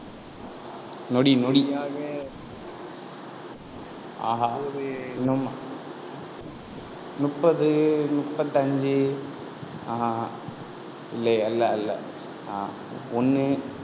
நொடி நொடி ஆஹா இன்னும் முப்பது, முப்பத்தஞ்சு ஆஹ் அஹ் இல்லை அல்ல அல்ல ஆஹ் ஒண்ணு